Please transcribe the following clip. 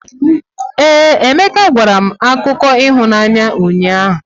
Ee, Emeka gwara m akụkọ ịhụnanya ụnyahụ.